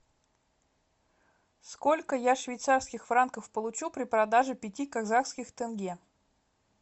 сколько я швейцарских франков получу при продаже пяти казахских тенге